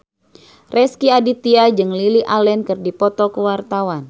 Rezky Aditya jeung Lily Allen keur dipoto ku wartawan